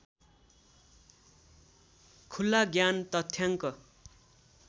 खुला ज्ञान तथ्याङ्क